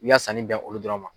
I b'i y'a sanni bɛn olu dɔrɔn ma.